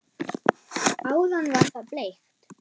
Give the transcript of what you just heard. Áðan var það bleikt.